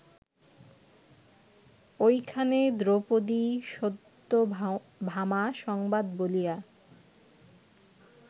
ঐখানে দ্রৌপদীসত্যভামা সংবাদ বলিয়া